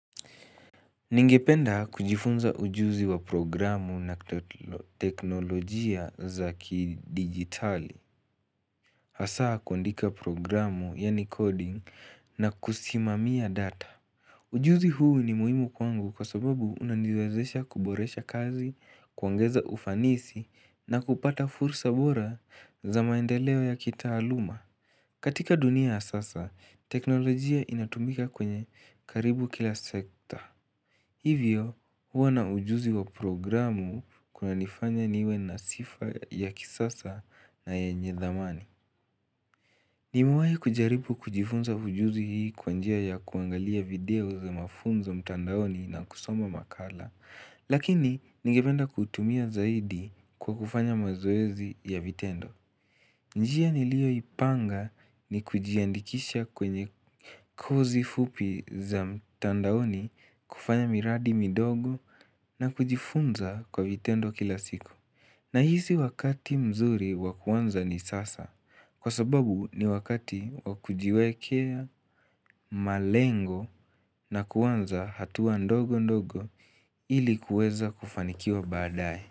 Ningependa kujifunza ujuzi wa programu na teknolojia za kidigitali, hasa kuandika programu, yani coding, na kusimamia data. Ujuzi huu ni muhimu kwangu kwa sababu unaniwezesha kuboresha kazi, kuongeza ufanisi, na kupata fursa bora za maendeleo ya kitaaluma. Katika dunia ya sasa, teknolojia inatumika kwenye karibu kila sekta. Hivyo, kuwa na ujuzi wa programu kuna nifanya niwe na sifa ya kisasa na yenye dhamani. Nimewahi kujaribu kujifunza ujuzi hii kwa njia ya kuangalia video za mafunza mtandaoni na kusoma makala, lakini nigependa kuitumia zaidi kwa kufanya mazoezi ya vitendo. Njia niliyoipanga ni kujiandikisha kwenye kozi fupi za mtandaoni kufanya miradi midogo na kujifunza kwa vitendo kila siku. Nahisi wakati mzuri wa kuanza ni sasa kwa sababu ni wakati wa kujiwekea malengo na kuanza hatua ndogo ndogo ili kuweza kufanikiwa baadaye.